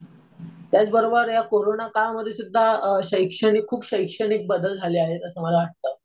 त्याचबरोबर ह्या कोरोना काळामध्ये सुध्दा शैक्षणिक खूप शैक्षणिक बदल झाले आहेत असं मला वाटतं.